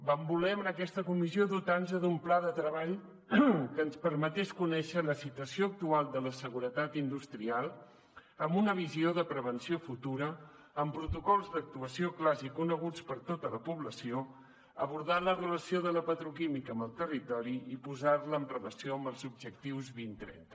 vam voler en aquesta comissió dotar nos d’un pla de treball que ens permetés conèixer la situació actual de la seguretat industrial amb una visió de prevenció futura amb protocols d’actuació clars i coneguts per tota la població abordar la relació de la petroquímica amb el territori i posar la en relació amb els objectius dos mil trenta